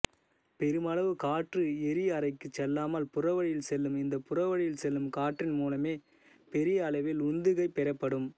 பெருமளவு காற்று எரிஅறைக்கு செல்லாமல் புறவழியில் செல்லும் இந்த புறவழியில் செல்லும் காற்றின் மூலமே பெரிய அளவில் உந்துகை பெறப்படும்